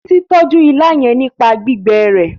Titi n tọjú ìlà yén nípa gbígbé rẹ